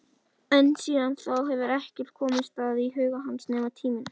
En síðan þá hefur ekkert komist að í huga hans nema tíminn.